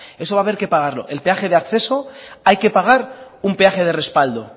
eso va a haber que pagarlo el peaje de acceso hay que pagar un peaje de respaldo